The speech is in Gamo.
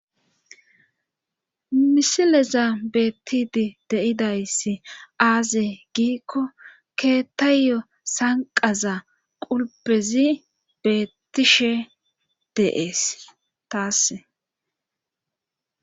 misileza beettidi deidayssi aaze giikko keettayyo sanqaza qulpezi beettishe deees taasse